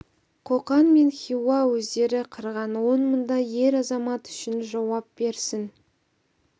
қоқан мен хиуа өздері қырған он мыңдай ер азамат үшін жауап берсін